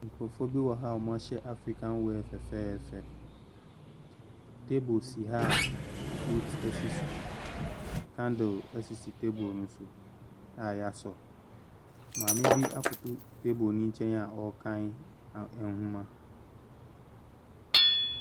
Nkorɔfoɔ bi ɛwɔ ha ɔmo ahyɛ afrikan wɛɛ fɛfɛɛfɛ tebel si ha frut esi so kandel esi tebel no soa yasɔɔ maame bi akoto tebel no nkyɛn a ɔkan nwoma.